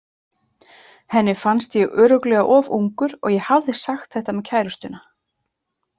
Henni fannst ég örugglega of ungur og ég hafði sagt þetta með kærustuna.